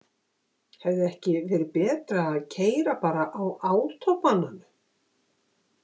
Hefði ekki verið betra að keyra bara á átóbananum?